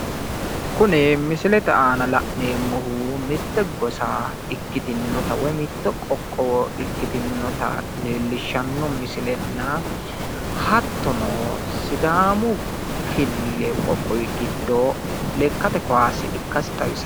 kuni misilete aana la'neemoti mitte gosa ikkitinnotana woy mitto qoqqowo ikkasinna hattona sidaamu qoqowi giddo lekkate kaase ikkase